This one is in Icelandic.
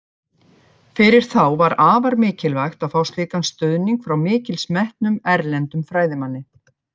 Fyrir þá var afar mikilvægt að fá slíkan stuðning frá mikils metnum, erlendum fræðimanni.